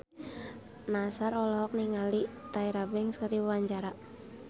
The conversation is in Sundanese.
Nassar olohok ningali Tyra Banks keur diwawancara